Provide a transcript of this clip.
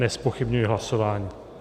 Nezpochybňuji hlasování.